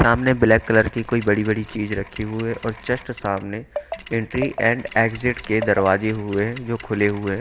सामने black colour की कोई बड़ी बड़ी चीज रखी हुई है और जस्ट सामने एंट्री एंड एग्जिट के दरवाजे हुए जो खुले हुए है।